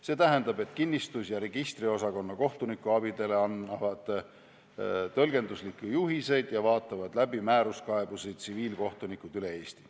See tähendab, et kinnistus- ja registriosakonna kohtunikuabidele annavad tõlgenduslikke juhiseid ja vaatavad määruskaebusi läbi tsiviilkohtunikud üle Eesti.